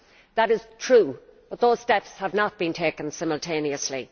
That is true, but those steps have not been taken simultaneously.